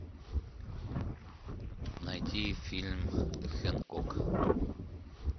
найти фильм хэнкок